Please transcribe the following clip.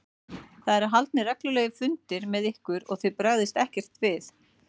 Það eru haldnir reglulegir fundir með ykkur og þið bregðist ekkert við?